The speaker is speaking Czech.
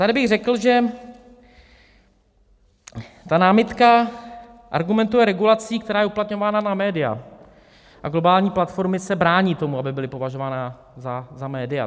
Tady bych řekl, že ta námitka argumentuje regulací, která je uplatňována na média, a globální platformy se brání tomu, aby byly považovány za média.